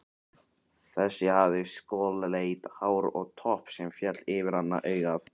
Þessi hafði skolleitt hár og topp sem féll yfir annað augað.